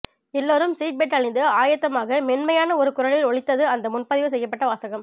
எல்லோரும் seat belt அணிந்து ஆயத்தமாக மென்மையான ஒரு குரலில் ஒலித்தது அந்த முன்பதிவு செய்யப்பட்ட வாசகம்